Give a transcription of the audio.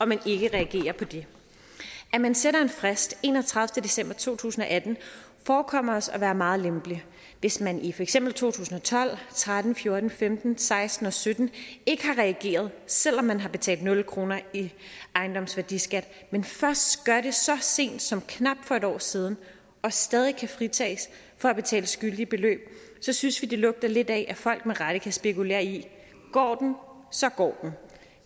man ikke reagerer på det at man sætter en frist enogtredivete december to tusind og atten forekommer os at være meget lempeligt hvis man i for eksempel to tusind og tolv tretten fjorten femten seksten og sytten ikke har reageret selv om man har betalt nul kroner i ejendomsværdiskat men først gør det så sent som for knap et år siden og stadig kan fritages for at betale skyldige beløb synes vi lugter lidt af at folk med rette kan spekulere i går den så går den